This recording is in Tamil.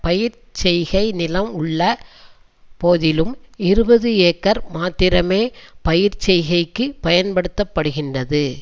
பயிர்ச் செய்கை நிலம் உள்ள போதிலும் இருபது ஏக்கர் மாத்திரமே பயிர்ச் செய்கைக்கு பயன்படுத்த படுகின்றது